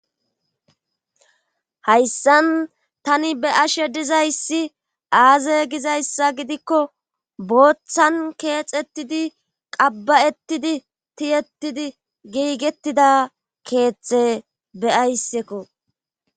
Hayssan tani be ashe dizayssi aaze gizayssa gidikko booththan keexettidi qabba7ettidi tiyettidi giigettida keethte be ayssekko